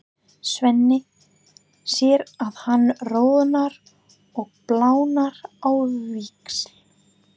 Svenni sér að hann roðnar og blánar á víxl.